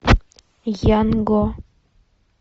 янго